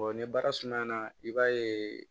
ni baara sumayana i b'a ye